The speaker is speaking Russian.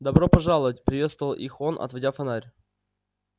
добро пожаловать приветствовал их он отводя фонарь